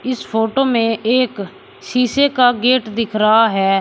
इस फोटो में एक शीशे का गेट दिख रहा है।